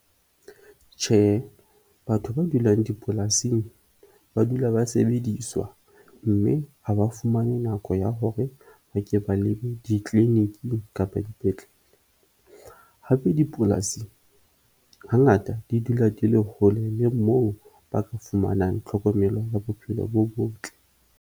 Tjhehe, batho ba dulang dipolasing ba dula ba sebediswa mme ha ba fumane nako ya hore ba ke ba lebe di-clinic-ing kapa dipetlele. Hape, dipolasi hangata di dula di le hole le moo ba ka fumanang tlhokomelo ya bophelo bo botle.